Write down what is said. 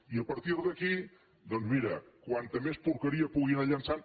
i a partir d’aquí doncs mira com més porqueria pugui anar llançant